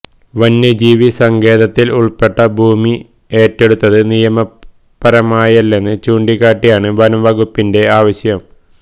വന്യജീവി സങ്കേതത്തില് ഉള്പ്പെട്ട ഭൂമി ഏറ്റെടുത്തത് നിയമപരമായല്ലെന്ന് ചൂണ്ടിക്കാട്ടിയാണ് വനംവകുപ്പിന്റെ ആവശ്യം